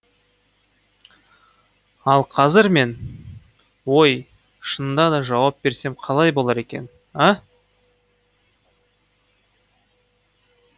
ал қазір мен ой шынында да жауап берсем қалай болар екен а